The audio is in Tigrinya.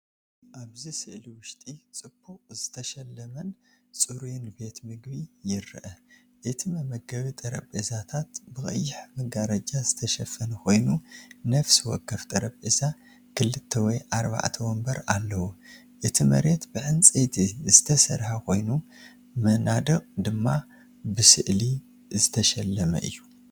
ኣብዚ ስእሊ ውሽጢ ጽቡቕ ዝተሸለመን ጽሩይን ቤት ምግቢ ይርአ። እቲ መመገቢ ጠረጴዛታት ብቐይሕ መጋረጃ ዝተሸፈነ ኮይኑ ነፍሲ ወከፍ ጠረጴዛ ክልተ ወይ ኣርባዕተ መንበር ኣለዎ። እቲ መሬት ብዕንጨይቲ ዝተሰርሐ ኮይኑ መናድቕ ድማ ብስእሊ ዝተሸለመ እዩ።